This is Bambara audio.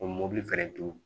O mobili